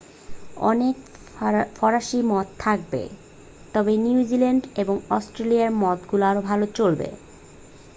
অনেক ফরাসি মদ থাকবে তবে নিউজিল্যান্ড এবং অস্ট্রেলিয়ান মদগুলো আরও ভাল চলবে